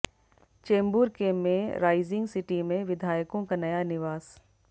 चेंबूर के में rising city में विधायकों का नया निवास